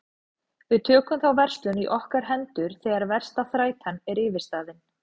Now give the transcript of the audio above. Við tökum þá verslun í okkar hendur þegar versta þrætan er yfirstaðin.